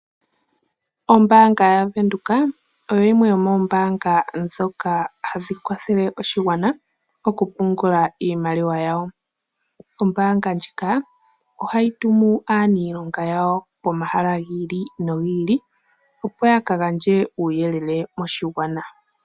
Ombanga yaVenduka oyp yimwe yomombanga dhoka hadhi kwathele oshigwana okupungula iimaliwa yawo. Ombanga ndjika ohayi tumu aanilonga yawo pomahala gi ili nogi ili opo ya kagandje uuyelele moshigwana.